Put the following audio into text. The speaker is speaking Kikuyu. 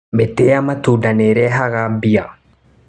Mĩtĩ ya matunda nĩrehaga mbia.